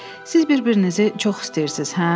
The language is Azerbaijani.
Siz bir-birinizi çox istəyirsiz, hə?